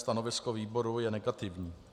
Stanovisko výboru je negativní.